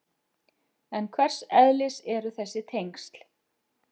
En hvers eðlis eru þessi tengsl?